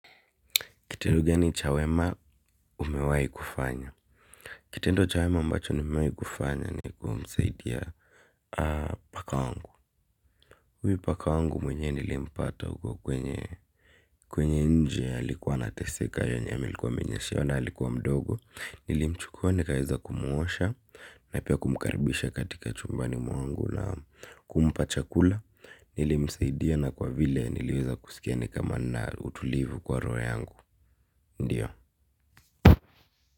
Kitendo gani cha wema umewai kufanya? Kitendo cha wema ambacho nimewahi kufanya ni kumsaidia, paka wangu. Huyu paka wangu mwenyewe nilimpata huko kwenye nje alikuwa anateseka yenye ailikuwa amenyeshewa na alikuwa mdogo. Nilimchukua nikaweza kumwosha na pia kumkaribisha katika chumbani mwangu na kumpa chakula. Nilimsaidia na kwa vile niliweza kusikia ni kama ninautulivu kwa roho yangu. Ndiyo.